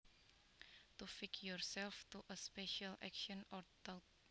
To fix yourself to a special action or thought